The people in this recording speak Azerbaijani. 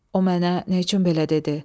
O mənə nə üçün belə dedi?